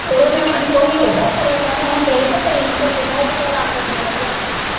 ਓਦੋ ਲੋਕੀ ਓਹਦਾ ਈ ਬੜੇ ਸੋਹਣੇ ਹੁੰਦੇ ਹੀ ਤੇ ਕਰੀਮ ਤੋਂ ਬਿਨ੍ਹਾਂ ਈ ਕਿਤੇ ਰੰਗ ਕੀਤੇ ਏਡੇ ਵਧੀਆ ਹੁੰਦੇ ਹੀ।